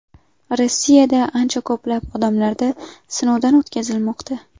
Rossiyada ancha ko‘plab odamlarda sinovdan o‘tkazilmoqda.